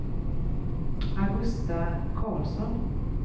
Augusta Carlsson